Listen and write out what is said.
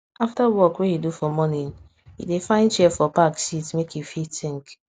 after work wey he do for morning e find chair for park sit make e fit think